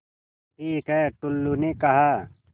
ठीक है टुल्लु ने कहा